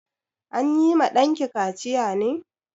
An yi ma ɗanki kaciya ne?